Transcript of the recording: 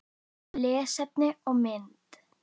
Lesefni og mynd